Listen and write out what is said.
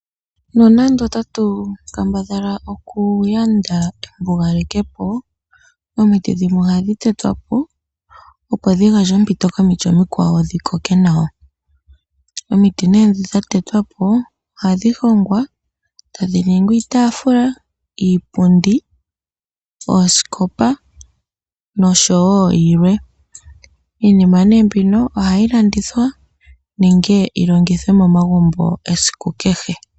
Nonando otatu kambadhala okuyanda embugaleke po omiti dhimwe ohadhi tetwa po, opo dhi gandje ompito komikwawo dhi koke nawa. Omiti ndhono dha tetwa po ohadhi hongwa e tadhi ningi iitaafula, iipundi, oosikopa noshowo yilwe. Iinima mbika ohayi landithwa nenge yi longithwe momagumbo esiku kehe.